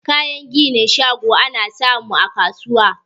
Kayan ginin shago ana samu a kasuwa